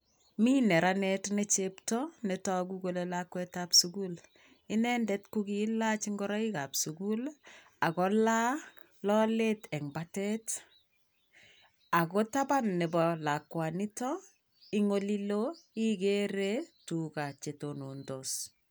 Mi neranet nechepto netoku kole lakwet ab sukul inendet kokiilach ingoroik ab sukul ak kolaa lolet en batet ako taban nebo lakwanito en oliloo igere tug'aa chetonontos.